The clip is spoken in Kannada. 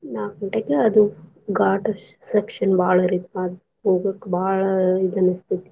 ನಾಕ್ ಗಂಟೆಕ್ ಅದು ghat section ಬಾಳ ರಿಪಾ ಹೋಗಕ್ ಬಾಳ್ ಇದ ಅನಸ್ತೇತಿ.